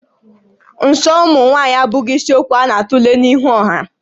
Nsọ ụmụ nwaanyị abụghị isiokwu a na-atule n'ihu ọha